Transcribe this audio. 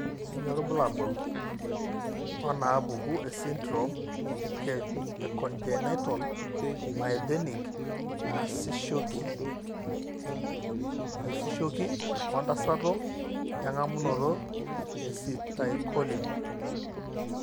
Kainyio irbulabul onaapuku esindirom eCongenital myasthenic naisishoki oentasato eng'amunoto eacetylcholine?